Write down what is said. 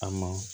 A ma